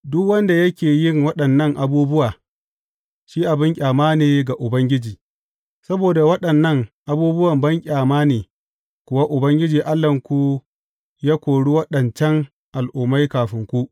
Duk wanda yake yin waɗannan abubuwa, shi abin ƙyama ne ga Ubangiji, saboda waɗannan abubuwa banƙyama ne kuwa Ubangiji Allahnku ya kori waɗancan al’ummai kafin ku.